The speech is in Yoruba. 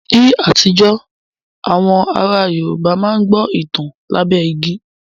Ní àtijọ́, àwọn ará Yorùbá máa ń gbọ́ ìtàn lábẹ́ igi